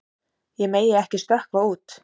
Ég megi ekki stökkva út.